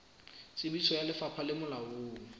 tsebiso ya lefapha le molaong